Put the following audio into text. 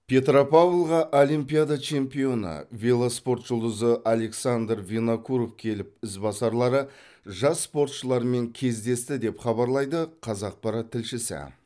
петропавлға олимпиада чемпионы велоспорт жұлдызы александр винокуров келіп ізбасарлары жас спортшылармен кездесті деп хабарлайды қазақпарат тілшісі